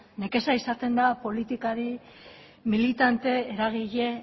nekea izaten da politikari militante eragile